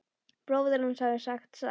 Bróðir hans hafði sagt satt.